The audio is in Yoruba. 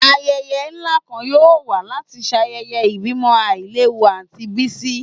Ayẹyẹ nla kan yoo wa lati ṣayẹyẹ ibimo ailewu Aunty Bisi